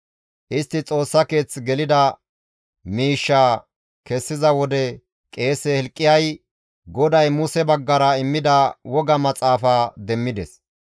Istti Xoossa keeth gelida miishshaa kessiza wode qeese Hilqiyay GODAY Muse baggara immida woga Maxaafa demmides.